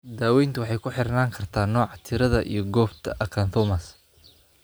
Daaweyntu waxay ku xirnaan kartaa nooca, tirada, iyo goobta acanthomas.